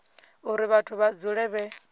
uri vhathu vha dzule vhe